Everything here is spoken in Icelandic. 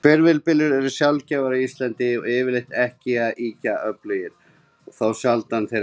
Hvirfilbyljir eru sjaldgæfir á Íslandi, og yfirleitt ekki svo ýkja öflugir þá sjaldan þeir verða.